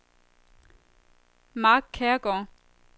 Mark Kjærgaard